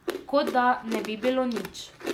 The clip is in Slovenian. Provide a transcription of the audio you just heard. Kot, da ne bi bilo nič.